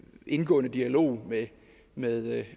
indgående dialog med